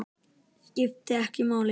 Skiptir ekki máli!